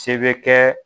Se bɛ kɛ